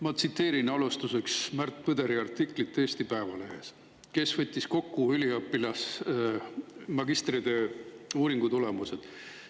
Ma tsiteerin alustuseks Märt Põderi artiklit Eesti Päevalehes, kus ta võttis kokku magistritöö uuringutulemused.